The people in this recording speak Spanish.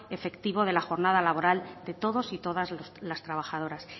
efectivo de la jornada laboral de todos y todas las trabajadoras